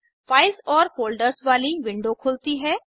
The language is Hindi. फाइल्स और फ़ोल्डर्स वाली विंडो खुलती है